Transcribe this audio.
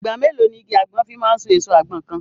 Ìgbà mélòó ni igi àgbọn fi máa so èso àgbọn kan?